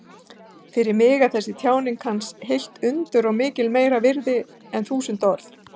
Fyrir mig er þessi tjáning hans heilt undur og miklu meira virði en þúsund orð.